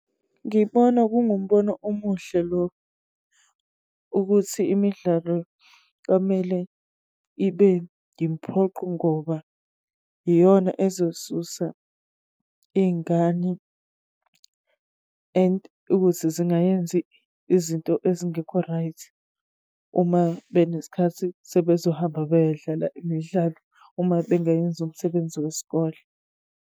Ngibona kungumbono umuhle lowo, ukuthi imidlalo kwamele ibe imphoqo ngoba iyona ezosusa iy'ngane and ukuthi zingayenzi izinto ezingekho right. Uma beneskhathi, sebezohamba beyodlala imidlalo, uma bengayenzi umsebenzi wesikole.